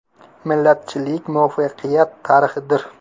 “Millatchilik muvaffaqiyat tarixidir”.